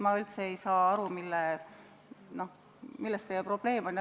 Ma üldse ei saa aru, milles teie probleem on.